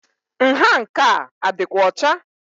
Nha nke a adi6kwa ọcha?